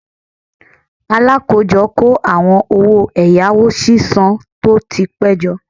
Alakojo ko awon owo eyawo sisan to ti pe jo